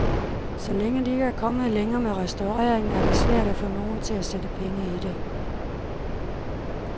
Så længe de ikke er kommet længere med restaureringen, er det svært at få nogen til at sætte penge i det.